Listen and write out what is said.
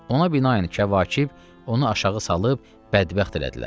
Ona binaən Kəvakib onu aşağı salıb bədbəxt elədilər.